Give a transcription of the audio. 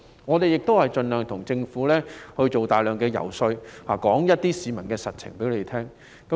議員亦盡力為政府做大量遊說工作，將市民的實際情況告訴政府。